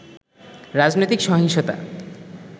রাজনৈতিক সহিংসতা